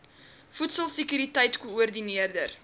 voedsel sekuriteit koördineer